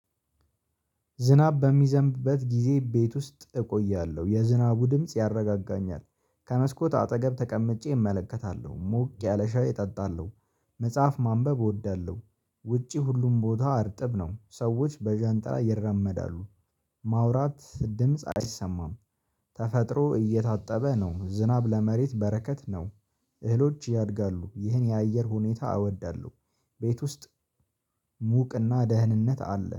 ዝናብ በሚዘንብበት ጊዜ ቤት ውስጥ እቆያለሁ የዝናቡ ድምጽ ያረጋጋኛል ከመስኮት አጠገብ ተቀምጬ እመለከታለሁ ሞቅ ያለ ሻይ እጠጣለሁ መጽሐፍ ማንበብ እወዳለሁ። ውጪ ሁሉም ቦታ እርጥብ ነው ሰዎች በዣንጥላ ይራመዳሉ። ማውራት ድምጽ አይሰማም። ተፈጥሮ እየታጠበ ነው ዝናብ ለመሬት በረከት ነው። እህሎች ያድጋሉ ይህን የአየር ሁኔታ አወዳለሁ። ቤት ውስጥ ሙቅና ደህንነት አለ